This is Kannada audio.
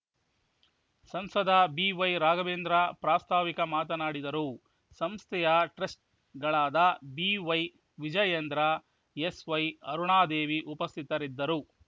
ಸಂಸದ ಬಿವೈ ರಾಘವೇಂದ್ರ ಪ್ರಾಸ್ತಾವಿಕ ಮಾತನಾಡಿದರು ಸಂಸ್ಥೆಯ ಟ್ರಸ್ಟ್ ಗಳಾದ ಬಿವೈ ವಿಜಯೇಂದ್ರ ಎಸ್‌ವೈ ಅರುಣಾದೇವಿ ಉಪಸ್ಥಿತರಿದ್ದರು